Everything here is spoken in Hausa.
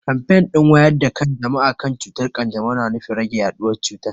Kamfen din wayar da kan jama'a kan cutar kanjamau na nufin rage yaduwar cutar.